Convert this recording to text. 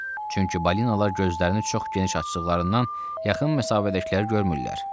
Çünki balinalar gözlərini çox geniş açdıqlarından yaxın məsafədəkiləri görmürlər.